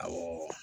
Awɔ